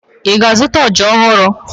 Ị ga-azụta ọja ọhụrụ?